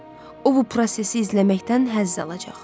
O bu prosesi izləməkdən həzz alacaq.